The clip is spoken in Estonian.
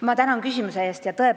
Ma tänan küsimuse eest!